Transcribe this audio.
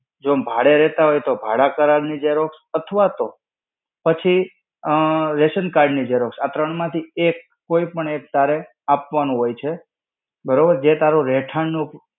જો ભાડે રહેતા હોય તો ભાડા કરાર ની Xerox અથવા તો, પછી ઉમમ, ration card ની Xerox. આ ત્રણ માંથી એક, કોઈ પણ એક તારે આપવાનું હોય છે, બરોબર જે તારો રહેઠાણ નો